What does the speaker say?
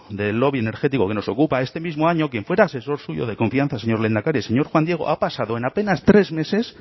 del lobby energético que nos ocupa este mismo año quien fuera asesor suyo de confianza señor lehendakari el señor juan diego ha pasado en apenas tres meses